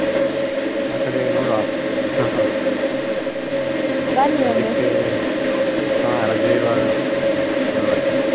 ಆ ಕಡೆ ನೋಡ್ವ . ಹಾ ರಜೆ ಇರ್ವಗ ಒಮ್ಮೆ ಬರ್ತೇನೆ.